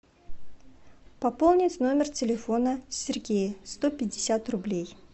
пополнить номер телефона сергея сто пятьдесят рублей